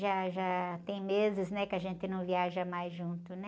Já já tem meses, né, que a gente não viaja mais junto, né?